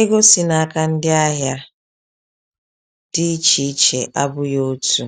ego si n’aka ndị ahịa dị iche iche abụghị otu.